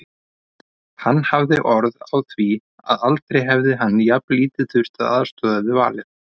Hann hafði orð á því að aldrei hefði hann jafnlítið þurft að aðstoða við valið.